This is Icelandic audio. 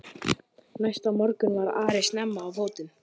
Næsta morgun var Ari snemma á fótum.